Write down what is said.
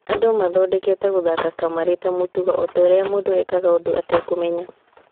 "Andũ mathondekete gũthaka kamarĩ ta mũtugo, otaũria mũndũ ekaga ũndũ etekũmenya.